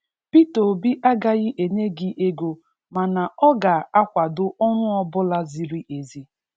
Peter Obi agaghị enye gị ego mana ọ ga-akwado ọrụ ọbụla ziri ezi'